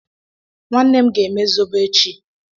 Nwannem ga eme Zobo echi